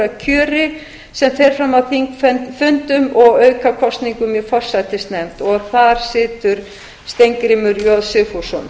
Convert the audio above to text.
að kjöri sem fer fram á þingfundum og aukakosningum í forsætisnefnd þar situr steingrímur j sigfússon